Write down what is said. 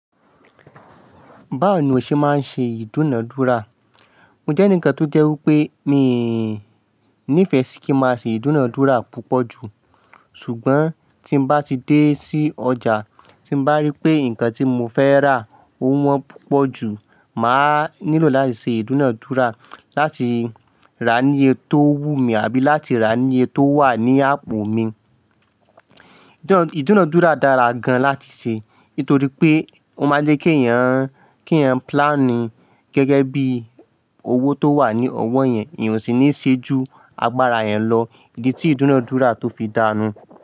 Báwo ni o ṣe máa ń ṣe ìdúnadúrà? Mo jẹ́ ènì kan tó jẹ́ wípé mi nífẹ̀ẹ́ sí kí n máa ṣe ìdúnadúrà púpọ̀ jù, ṣùgbọ́n tí m bá ti dé sí ọjà tí m bá rí pé ǹkan tí mo fẹ́ rà ọ wọ́n púpọ̀ jù, màá nílò láti ṣe ìdúnadúrà láti rà á ní iye tó wú mi àbí láti rà á ní iye tó wà ní àpò mi. Ìdúnadúrà dára gan láti ṣe nítorí pé ó máa jẹ́ kí èèyàn, kí èèyàn plání gẹ́gẹ́ bí owó tó wà ní ọwọ́ yẹn, èèyàn ò sì ní ṣe ju agbára yàn lọ. Idí tí ìdúnadúrà tó fi dá nù.